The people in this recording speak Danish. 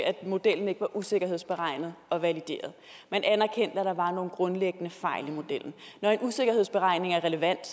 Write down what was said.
at modellen ikke var usikkerhedsberegnet og valideret man anerkendte at der var nogle grundlæggende fejl i modellen når en usikkerhedsberegning er relevant